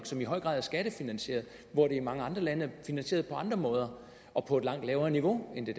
som i høj grad er skattefinansieret hvor det i mange andre lande er finansieret på andre måder og på et langt lavere niveau end i